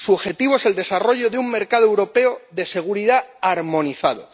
Su objetivo es el desarrollo de un mercado europeo de seguridad armonizado.